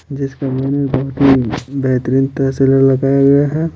जिस कमरे मे बहुत ही बेहतरीन तस्वीरे लगाये गया है।